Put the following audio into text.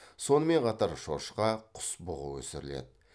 сонымен қатар шошқа құс бұғы өсіріледі